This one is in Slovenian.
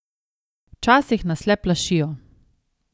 Včasih nas le plašijo.